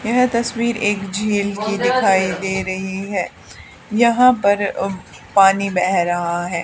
यह तस्वीर एक झील की दिखाई दे रही हैं यहां पर अह पानी बेह रहा है।